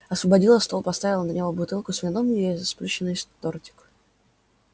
освободила стол поставила на него бутылку с вином и сплющенный тортик